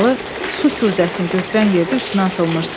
Həsənalı su kuzəsini götürən yerdə üstünə atılmışdı.